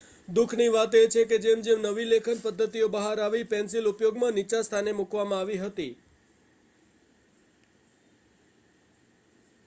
દુઃખની વાત એ છે કે જેમ જેમ નવી લેખન પદ્ધતિઓ બહાર આવી, પેન્સિલ ઉપયોગમાં નીચા સ્થાને મૂકવામાં આવી હતી